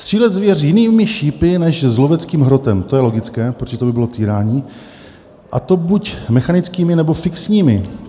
"Střílet zvěř jinými šípy než s loveckým hrotem" - to je logické, protože to by bylo týrání - "a to buď mechanickými, nebo fixními.